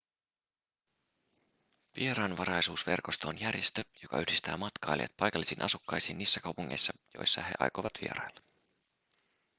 vieraanvaraisuusverkosto on järjestö joka yhdistää matkailijat paikallisiin asukkaisiin niissä kaupungeissa joissa he aikovat vierailla